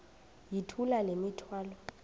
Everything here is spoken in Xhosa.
yithula le mithwalo